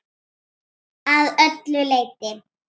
Að öllu leyti.